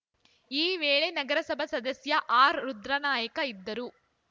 ಈ ವೇಳೆ ನಗರಸಭಾ ಸದಸ್ಯ ಆರ್‌ರುದ್ರನಾಯಕ ಇದ್ದರು